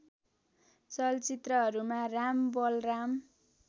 चलचित्रहरूमा राम बलराम